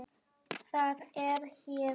Það er hér.